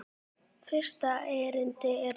Fyrsta erindi er svona